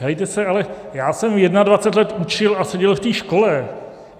Helejte se, ale já jsem 21 let učil a seděl v té škole.